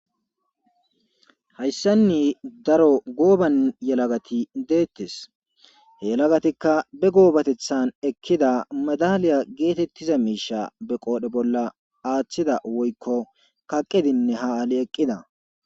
hayssanni daro gooban yelagati deettes he yelagatikka be goobatethan ekkida madaliya geetettiza miisha be qoodhe bolla aaththida woykko kaqedinne ha aali eqqida